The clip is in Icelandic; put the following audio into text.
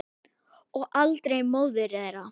Og aldrei móður þeirra.